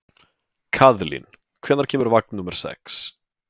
Kaðlín, hvenær kemur vagn númer sex?